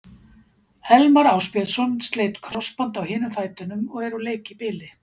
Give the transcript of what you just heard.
Elmar Ásbjörnsson sleit krossbönd á hinum fætinum og er úr leik í bili.